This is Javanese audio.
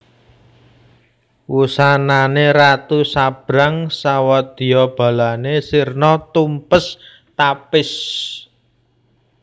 Wusanane ratu sabrang sawadyabalane sirna tumpes tapis